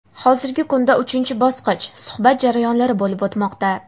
Hozirgi kunda uchinchi bosqich – suhbat jarayonlari bo‘lib o‘tmoqda.